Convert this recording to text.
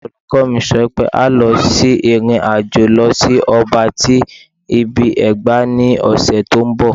Olukọni mi sọ pe a o lọ si irin-ajo lọ si ọba ti ibi-ẹgba ni ọsẹ ti nbọ